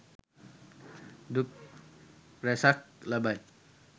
දුක් රැසක් ලබයි.